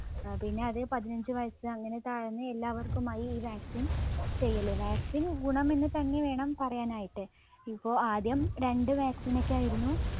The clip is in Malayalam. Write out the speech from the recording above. അഹ് പിന്ന അത് പതിനഞ്ച് വയസ്സ് അങ്ങനെ താഴ്ന്ന് എല്ലാവർക്കുമായി ഈ vaccine ചെയ്യല്. vaccine ഗുണമെന്ന് തന്നെ വേണം പറയാനായിട്ട് ഇപ്പൊ ആദ്യം രണ്ട് vaccine ഒക്കെ ആയിരുന്നു